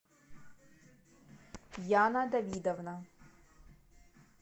яна давидовна